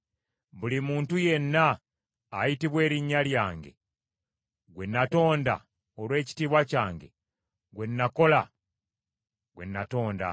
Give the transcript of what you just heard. Buli muntu yenna ayitibwa erinnya lyange, gwe natonda olw’ekitiibwa kyange, gwe nakola gwe natonda.”